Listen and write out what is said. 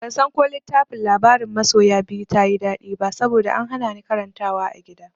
Bansan ko littafin labarin masoya biyu ta yi daɗi ba saboda an hana ni karantawa a gida.